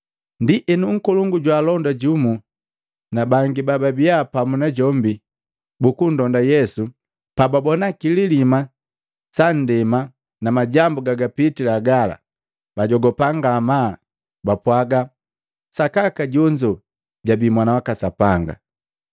Ndienu nkolongu jwaalonda jumu na bangi bababia pamu najombi bukundonda Yesu, pababona kililima sa ndema na majambu gagapitila gala, bajogupa ngamaa, bapwaga, “Sakaka jonzo jabii Mwana waka Sapanga.”